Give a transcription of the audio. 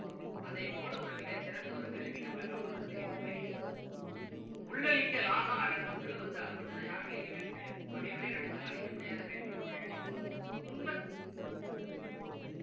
அதைப் போல மிகச்சிறந்த ஒரு கருவி நம்மள காப்பாத்துறதுக்கு எதுவுமே இல்லை உள்ளழிக்கல் ஆகா அரணுன்னா உள்ள வந்து அதை மட்டும் தான் யாரும் அழிக்கவே முடியாது பகைவரே நினைச்சாலும் அழிக்க முடியாத கருவி நம்முடைய அறிவு தான் துன்ப